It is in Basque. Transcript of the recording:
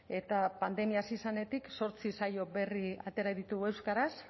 eta pandemia hasi zenetik zortzi saio berri atera ditugu euskaraz